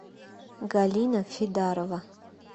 галина фидарова